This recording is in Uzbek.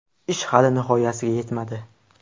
Ish hali nihoyasiga yetmadi.